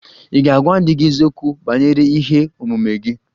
Ị̀ ga-agwa di gị eziokwu banyere ihe omume gị?